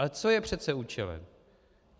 Ale co je přece účelem?